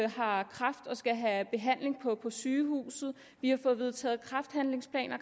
har kræft og skal have behandling på sygehuset vi har fået vedtaget kræfthandlingsplaner